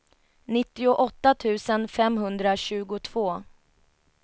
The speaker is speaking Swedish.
nittioåtta tusen femhundratjugotvå